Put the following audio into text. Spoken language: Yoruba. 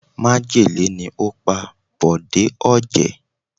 Májèlé ni ó pa Bòjé Ọ̀jẹ̀